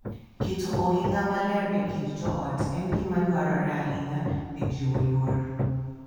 Keto ohinga maler e kind joot en gima dwarore ahinya e jiwo luor,